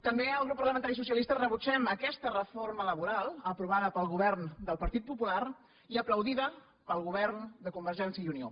també el grup parlamentari socialista rebutgem aquesta reforma laboral aprovada pel govern del partit popular i aplaudida pel govern de convergència i unió